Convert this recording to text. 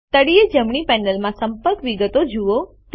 તળિયે જમણી પેનલમાં સંપર્ક વિગતો જુઓ